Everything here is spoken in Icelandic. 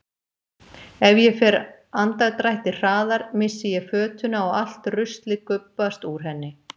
Ef ég fer andardrætti hraðar missi ég fötuna og allt ruslið gubbast úr henni.